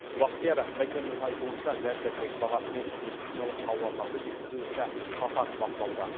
бақтияр мәкеннің айтуынша дәрі дәрмек бағасы мен медициналық тауарларды жеткізу ісі қатаң бақылауда